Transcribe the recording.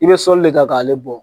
I bɛ sɔli de ka k'ale bɔ.